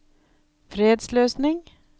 fredsløsning